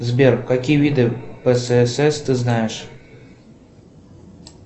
сбер какие виды пссс ты знаешь